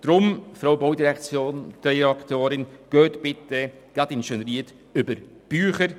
Darum, Frau Baudirektorin, gehen Sie bitte gerade in Schönried über die Bücher.